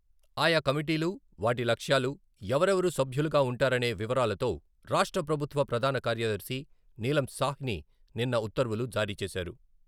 ఆయా కమిటీలు, వాటి లక్ష్యాలు, ఎవరెవరు సభ్యులుగా ఉంటారనే వివరాలతో రాష్ట్ర ప్రభుత్వ ప్రధాన కార్యదర్శి నీలం సాహ్ని నిన్న ఉత్తర్వులు జారీ చేశారు.